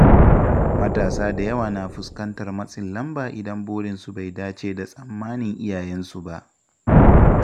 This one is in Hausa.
Matasa da yawa na fuskantar matsin lamba idan burinsu bai dace da tsammanin iyayensu ba.